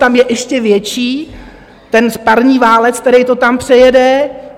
Tam je ještě větší ten parní válec, který to tam přejede.